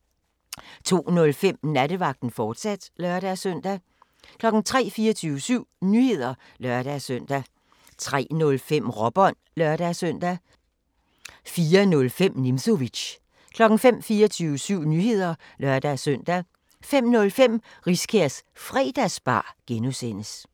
02:05: Nattevagten, fortsat (lør-søn) 03:00: 24syv Nyheder (lør-søn) 03:05: Råbånd (lør-søn) 04:00: 24syv Nyheder (lør-søn) 04:05: Nimzowitsch 05:00: 24syv Nyheder (lør-søn) 05:05: Riskærs Fredagsbar (G)